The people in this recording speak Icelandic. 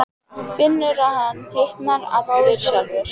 Finnur að hann hitnar allur sjálfur.